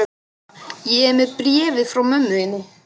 Kamilla, ég er með bréfið frá mömmu þinni.